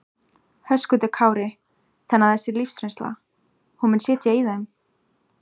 Höskuldur Kári: Þannig að þessi lífsreynsla, hún mun sitja í þeim?